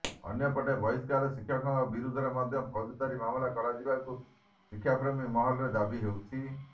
ଅନ୍ୟପଟେ ବହିଷ୍କାର ଶିକ୍ଷକଙ୍କ ବିରୁଦ୍ଧରେ ମଧ୍ୟ ଫୋଜଦାରୀ ମାମାଲା କରାଯିବାକୁ ଶିକ୍ଷାପ୍ରେମୀ ମହଲରେ ଦାବି ହେଉଛି